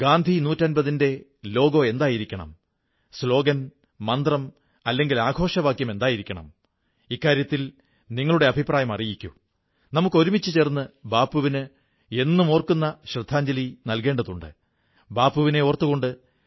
സർദാർ പട്ടേലിന്റെ നർമമഭാവ ത്തെ പ്രകടമാക്കുന്ന ഒരു കാര്യം നിങ്ങൾക്കറിയാമോ രാജാക്കൻമാരോടും രാജവംശങ്ങളോടും ചർച്ചകൾ നടത്തിയിരുന്ന പൂജനീയ ബാപ്പുവിന്റെ ജനമുന്നേറ്റങ്ങൾക്കുള്ള ഏർപ്പാടുകൾ ചെയ്തിരുന്നതിനോടൊപ്പം ഇംഗ്ലീഷുകാരോട് പോരാട്ടവും നടത്തിയിരുന്നു